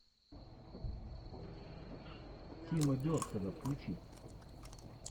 тима бертона включи